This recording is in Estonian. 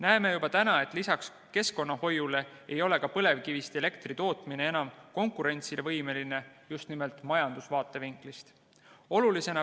Näeme juba täna, et lisaks keskkonnahoiu probleemile ei ole põlevkivist elektri tootmine enam konkurentsivõimeline ka majanduslikust vaatevinklist.